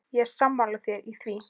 Ég er sammála þér í því.